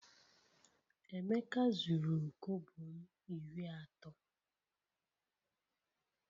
Emeka zuru kobo m iri ato